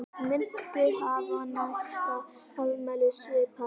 Muntu hafa næsta afmæli svipað?